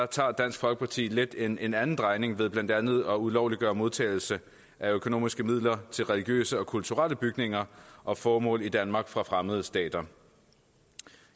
tager dansk folkeparti lidt en en anden drejning ved blandt andet at ulovliggøre modtagelse af økonomiske midler til religiøse og kulturelle bygninger og formål i danmark fra fremmede stater